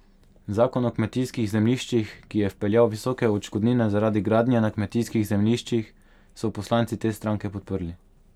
Zakon o kmetijskih zemljiščih, ki je vpeljal visoke odškodnine zaradi gradnje na kmetijskih zemljiščih, so poslanci te stranke podprli.